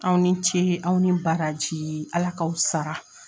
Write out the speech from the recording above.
Aw ni ce aw ni baraji Ala k'aw sara.